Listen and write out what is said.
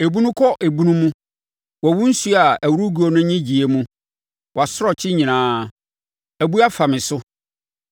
Ebunu kɔ ebunu mu wɔ wo nsuo a ɛworo guo no nnyegyeeɛ mu; wʼasorɔkye nyinaa abu afa me so.